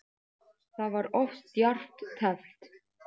Það var of djarft teflt.